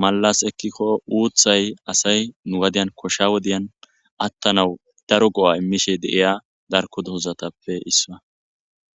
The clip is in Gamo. mallas ekkikko uuthay asay nu gadiyan koshsha wodiyan attanawu daro go7a immishe deiya darko doozatappe issaa